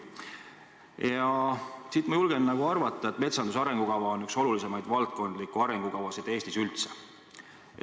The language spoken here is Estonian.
Ja seepärast ma julgen arvata, et metsanduse arengukava on üks olulisimaid valdkondlikke arengukavasid Eestis üldse.